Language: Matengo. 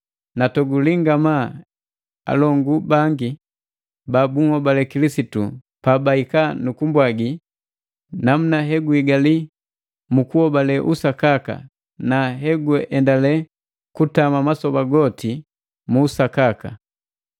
Natoguli ngamaa alongu bangi ba bunhobale Kilisitu pa bahika nu kumbwagi namuna he guhigali mu kuhobale usakaka, na heguendale kutama masoba goti mu usakaka.